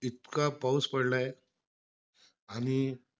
इतका पाऊस पडलायं आणि,